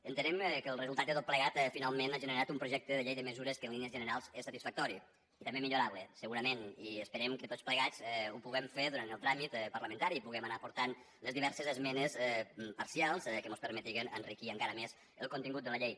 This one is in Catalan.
entenem que el resultat de tot plegat finalment ha gene rat un projecte de llei de mesures que en línies generals és satisfactori i també millorable segurament i esperem que tots plegats ho puguem fer durant el tràmit parlamentari puguem anar aportant les diverses esmenes parcials que mos permetin enriquir encara més el contingut de la llei